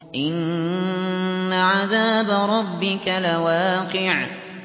إِنَّ عَذَابَ رَبِّكَ لَوَاقِعٌ